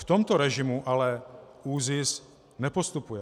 V tomto režimu ale ÚZIS nepostupuje.